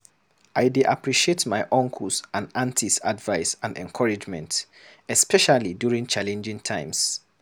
I dey appreciate my uncles and aunties' advice and encouragement, especially during challenging times.